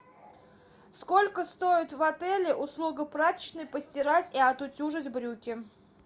сколько стоит в отеле услуга прачечной постирать и отутюжить брюки